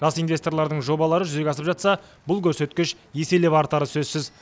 жас инвесторлардың жобалары жүзеге асып жатса бұл көрсеткіш еселеп артары сөзсіз